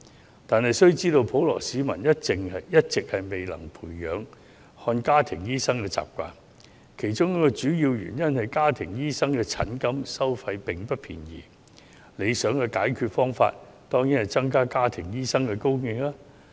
不過，大家須知道，普羅市民一直未能養成看家庭醫生的習慣，其中一個主要原因是家庭醫生的收費不便宜，而理想的解決方法當然是增加家庭醫生的供應。